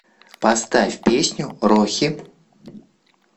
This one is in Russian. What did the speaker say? поставь песню рохи